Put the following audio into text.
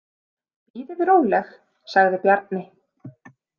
Bíðið róleg, sagði Bjarni.